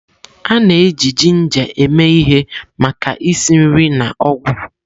A na-eji jinja eme ihe maka isi nri na ọgwụ.